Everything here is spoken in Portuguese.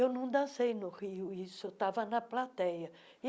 Eu não dancei no Rio, isso eu estava na plateia.